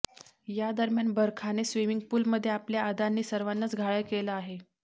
या दरम्यान बरखाने स्विमिंग पूलमध्ये आपल्या अदांनी सर्वांनाच घायाळ केलं आहे